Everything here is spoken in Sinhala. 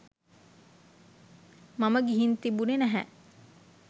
මම ගිහින් තිබුණෙ නැහැ.